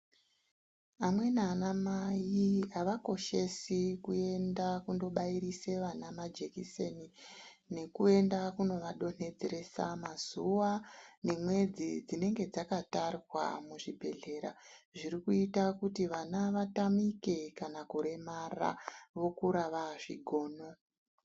Amweni ana mai avakoshesi kuenda kundobairisa vana majekiseni nekuenda kunovadonedzeresa mazuva nemwedzi dzinenge dzakatarwa muzvibhedhlera zviri kuita kuti vana vatamike kana kuremara vokura vazvigono.